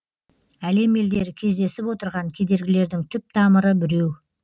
әлем елдері кездесіп отырған кедергілердің түп тамыры біреу